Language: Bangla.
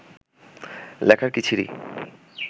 লেখার কী ছিরি